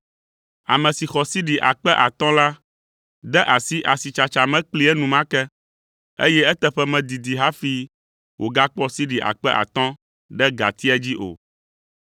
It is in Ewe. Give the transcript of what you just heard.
Ame si xɔ sidi akpe atɔ̃ la de asi asitsatsa me kplii enumake, eye eteƒe medidi hafi wògakpɔ sidi akpe atɔ̃ ɖe gatia dzi o.